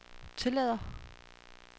tillader